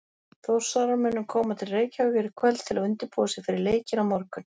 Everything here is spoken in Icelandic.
Þórsarar munu koma til Reykjavíkur í kvöld til að undirbúa sig fyrir leikinn á morgun.